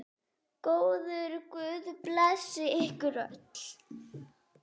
Góður guð blessi ykkur öll.